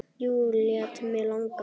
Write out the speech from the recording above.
Jú, lét mig langa.